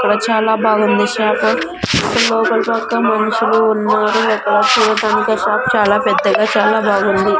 ఇక్కడ చాలా బాగుంది షాపు ఇక్కడ్ లోపలి పక్క మనుషులు ఉన్నారు ఒక షాప్ చాలా పెద్దగా చాలా బాగుంది.